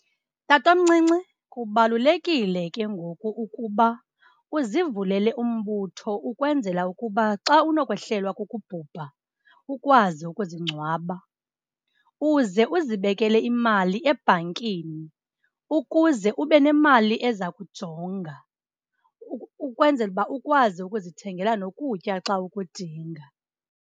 Tatomncinci, kubalulekile ke ngoku ukuba uzivulele umbutho ukwenzela ukuba xa unokwehlelwa kukubhubha, ukwazi ukuzingcwaba. Uze uzibekele imali ebhankini ukuze ube nemali eza kujonga ukwenzela uba ukwazi ukuzithengela nokutya xa ukudinga.